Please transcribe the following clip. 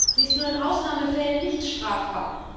Sie ist nur in Ausnahmefällen nicht strafbar.